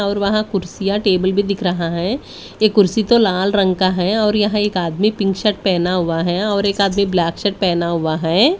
और वहां कुर्सियां टेबल भी दिख रहा है ये कुर्सी तो लाल रंग का है और यहां एक आदमी पिंक शर्ट पहना हुआ है और एक आदमी ब्लैक शर्ट पहना हुआ है।